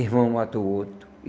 Irmão mata o outro.